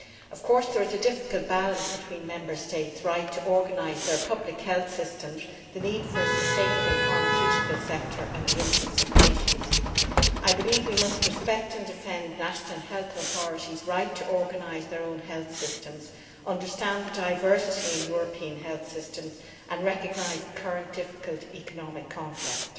Of course there is a difficult balance between Member States' right to organise their public health systems, the need for a sustainable pharmaceutical sector and the interests of patients. I believe we must respect and defend national health authorities' right to organise their own health systems, understand the diversity in European health systems and recognise the current difficult economic context.